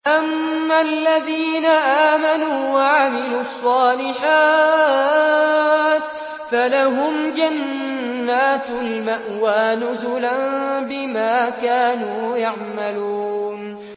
أَمَّا الَّذِينَ آمَنُوا وَعَمِلُوا الصَّالِحَاتِ فَلَهُمْ جَنَّاتُ الْمَأْوَىٰ نُزُلًا بِمَا كَانُوا يَعْمَلُونَ